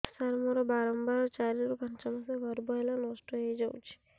ସାର ମୋର ବାରମ୍ବାର ଚାରି ରୁ ପାଞ୍ଚ ମାସ ଗର୍ଭ ହେଲେ ନଷ୍ଟ ହଇଯାଉଛି